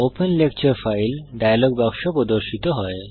open lecture file dialog বাক্স প্রদর্শিত হয়